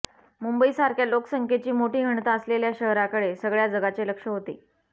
मुंबईसारख्या लोकसंख्येची मोठी घनता असलेल्या शहराकडे सगळ्या जगाचे लक्ष होते